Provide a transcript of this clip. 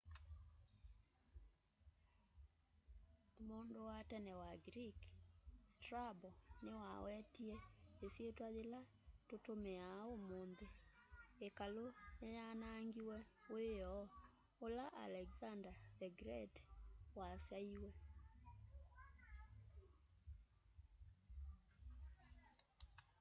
mundu wa tene wa greek strabo niwawetie isyitwa yila tutumiaa umunthi ikalu ni yanaangiwe wioo ula alexander the great wasaiwe